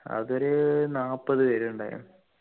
അതൊരു നാല്പത് പേരുണ്ടായിരുന്നു